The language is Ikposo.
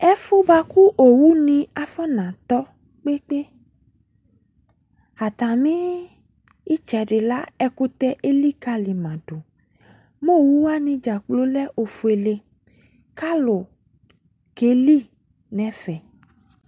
Ɛfu boako owu ne afona tɔ kpekpeAtama etsɛde la ekutɛ elikale ma do Mɛ oeu wane dzakplo lɛ ofuele ka alu keli no ɛfɛ